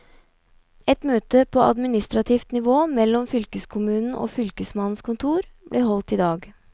Et møte på administrativt nivå mellom fylkeskommunen og fylkesmannens kontor, blir holdt i dag.